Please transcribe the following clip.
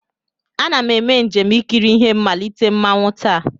Ana m eme njem ikiri ihe mmalite mmanwụ taa.